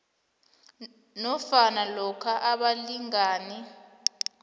nofana lokha abalingani